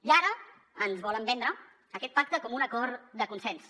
i ara ens volen vendre aquest pacte com un acord de consens